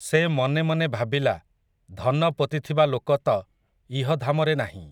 ସେ ମନେ ମନେ ଭାବିଲା, ଧନ ପୋତିଥିବା ଲୋକ ତ, ଇହଧାମରେ ନାହିଁ ।